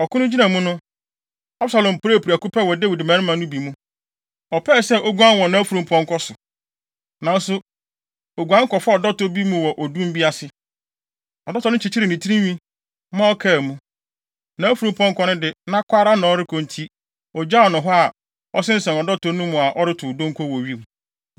Ɔko no gyina mu no, Absalom puee prɛko pɛ wɔ Dawid mmarima no bi mu. Ɔpɛɛ sɛ oguan wɔ nʼafurumpɔnkɔ so, nanso oguan kɔfaa ɔdɔtɔ bi mu wɔ odum bi ase. Ɔdɔtɔ no kyekyeree ne tinwi, ma ɔkaa mu. Nʼafurumpɔnkɔ no de, na kɔ ara na ɔrekɔ enti, ogyaw no hɔ a, ɔsensɛn ɔdɔtɔ no mu a ɔretow donko wɔ wim.